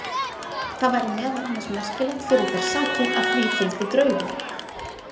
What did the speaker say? Það væri meðal annars merkilegt fyrir þær sakir að því fylgdi draugur.